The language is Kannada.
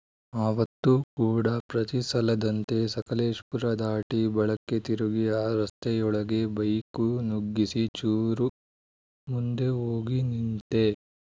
ಅವತ್ತು ಕೂಡ ಪ್ರತಿಸಲದಂತೆ ಸಕಲೇಶಪುರ ದಾಟಿ ಬಲಕ್ಕೆ ತಿರುಗಿ ಆ ರಸ್ತೆಯೊಳಗೆ ಬೈಕು ನುಗ್ಗಿಸಿ ಚೂರು ಮುಂದೆ ಹೋಗಿ ನಿಂತೆ